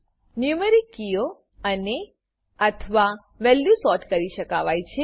numeric કીઓ અનેઅથવા value sort કરી શકાવાય છે